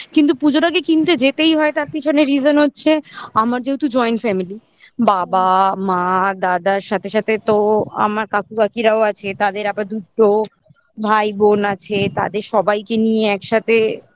কিন্তু পুজোর আগে কিনতে যেতেই হয় তার পিছনে reason হচ্ছে আমার যেহেতু joint family বাবা মা দাদার সাথে সাথে তো আমার কাকু কাকিরাও আছে তাদের আবার দুটো ভাই বোন আছে তাদের সবাইকে নিয়ে একসাথে যাওয়া